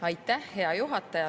Aitäh, hea juhataja!